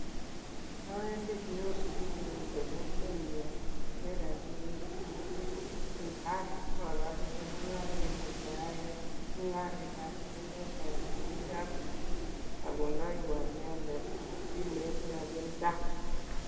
Awendii kioskiit nemiten kokwenyun, kinde rabinik akochini chemungoroindet neyoe kasit notok bo mpesa, sikondewon inendet simet rabinichonn